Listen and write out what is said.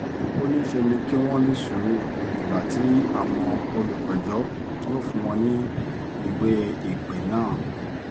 ó ní ṣe ni kí wọ́n ní sùúrù dìgbà tí àwọn olùpẹ̀jọ́ yóò fún wọn ní ìwé-ìpè náà